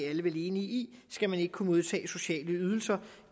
alle vel enige i skal man ikke kunne modtage sociale ydelser